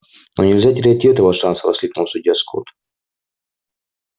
но нельзя терять и этого шанса воскликнул судья скотт